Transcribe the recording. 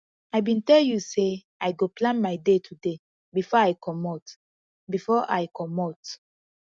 i bin tell you sey i go plan my day today before i comot before i comot